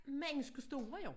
Menneskestore jo